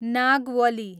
Nagavali